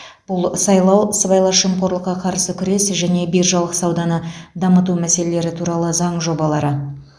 бұл сайлау сыбайлас жемқорлыққа қарсы күрес және биржалық сауданы дамыту мәселелері туралы заң жобалары